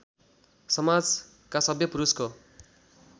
समाजका सभ्य पुरुषको